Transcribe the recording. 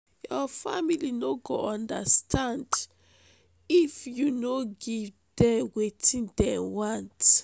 your family no go understand if you no give dem wetin dem want.